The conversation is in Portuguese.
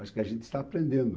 Acho que a gente está aprendendo.